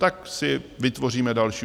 Tak si vytvoříme další.